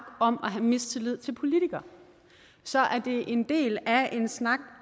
om at have mistillid til politikere så er det en del af en snak